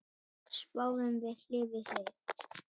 Sváfum hlið við hlið.